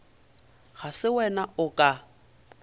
ga se wena o ka